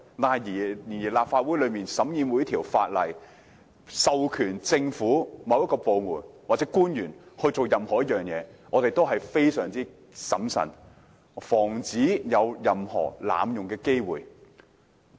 不過，當立法會審議任何授權某個政府部門或官員進行一件事的法案時，我們是非常審慎的，以防出現濫用的機會。